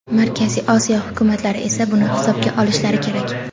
Markaziy Osiyo hukumatlari esa buni hisobga olishlari kerak.